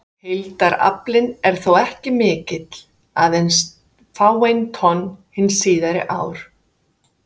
Heildaraflinn er þó ekki mikill, aðeins fáein tonn hin síðari ár.